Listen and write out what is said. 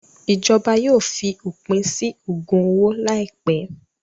Ìjọba yóò fi òpin sí ògùn owó láìpẹ́.